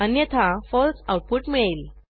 अन्यथा फळसे आऊटपुट मिळेल